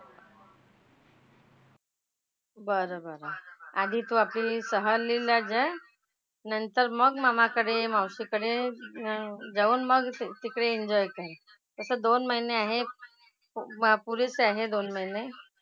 बरं बरं. आधी तू आपली सहलीला जा. नंतर मग मामाकडे ये, मावशीकडे न जाऊन मग तिकडे enjoy कर. आता दोन महिने आहेत . वा पुरीच आहे दोन महिने.